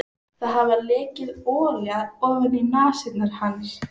Það hafði lekið olía ofaní nasir hans.